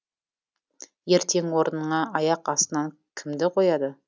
ертең орныңа аяқ астынан кімді қояды